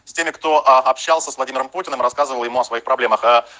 кто общался с владимиром путиным рассказываем о своих проблемах